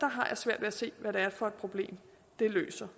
har jeg svært ved at se hvad det er for et problem det løser